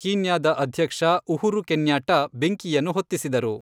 ಕೀನ್ಯಾದ ಅಧ್ಯಕ್ಷ Uhuru Kenyatta ಬೆಂಕಿಯನ್ನು ಹೊತ್ತಿಸಿದರು.